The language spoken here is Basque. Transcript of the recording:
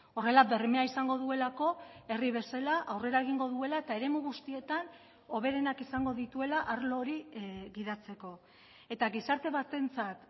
horrela bermea izango duelako herri bezala aurrera egingo duela eta eremu guztietan hoberenak izango dituela arlo hori gidatzeko eta gizarte batentzat